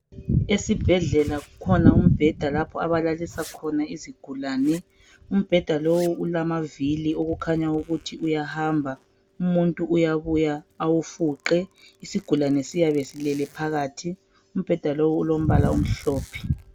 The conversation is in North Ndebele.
esibhedlela kukhona umbheda lapho abalalisa khona izigulane umbheda lowu ulamavili okukhanya ukuthi uyahamba umuntu uyabuya awufuqe isigulane siyabe silele phakathi umbheda lowu ulombala omhlophe